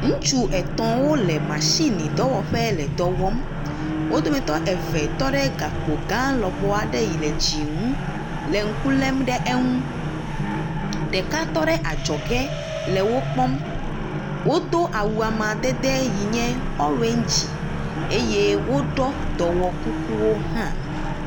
Ŋutsu etɔ̃wo le mashinidɔwɔƒe le dɔ wɔm, wo dometɔ eve tɔ ɖe gakpo gã lɔbɔ aɖe yi le dzi ŋu le ŋku lem ɖe eŋu. Ɖeka tɔ ɖe adzɔge le wo kpɔm. Wodo awu amadede si nye orange eye woɖɔ dɔwokukuwo hã.